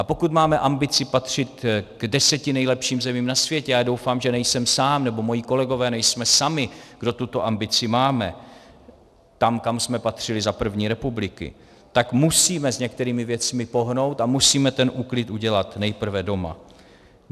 A pokud máme ambici patřit k deseti nejlepším zemím na světě, a doufám, že nejsem sám nebo moji kolegové nejsme sami, kdo tuto ambici máme, tam, kam jsme patřili za první republiky, tak musíme s některými věcmi pohnout a musíme ten úklid udělat nejprve doma.